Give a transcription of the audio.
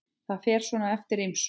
Það fer svona eftir ýmsu.